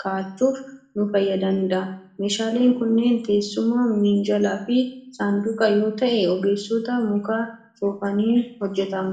kaa'achuuf nu fayyadanidha. Meeshaaleen kunnee teessuma, minjaalaa fi saanduuqa yoo ta'an, ogeessota muka soofaniin hojjetamu.